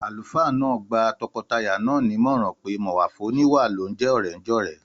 Àlùfáà náà gba tọkọtaya náà nímọ̀ràn pé mọ̀wà fún oníwà ló ń jẹ́ ọ̀rẹ́jọ̀rẹ́